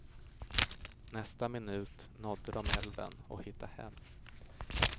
Nästa minut nådde de älven och hittade hem.